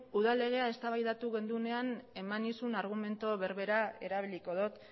udal legea eztabaidatu genuenean eman nizun argumentu berbera erabiliko dut